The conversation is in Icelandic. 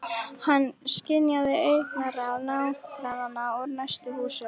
Hann skynjaði augnaráð nágrannanna úr næstu húsum.